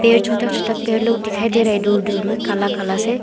ये छोटा छोटा पेड़ लोग दिखाई दे रहे हैं दूर दूर में काला काला से।